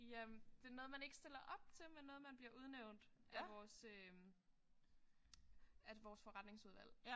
Jamen det noget man ikke stiller op til men noget man blive udnævnt af vores øh at vores forretningsudvalg